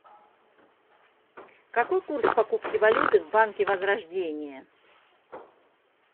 какой курс покупки валюты в банке возрождение